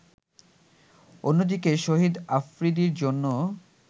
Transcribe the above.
অন্যদিকে শহীদ আফ্রিদির জন্য